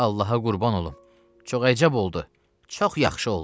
Allaha qurban olum, çox əcəb oldu, çox yaxşı oldu.